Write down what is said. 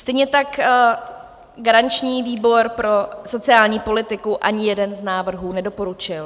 Stejně tak garanční výbor pro sociální politiku ani jeden z návrhů nedoporučil.